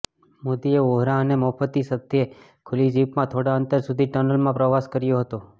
મોદીએ વોહરા અને મુફતી સાથે ખુલ્લી જીપમાં થોડાં અંતર સુધી ટનલમાં પ્રવાસ કર્યો હતો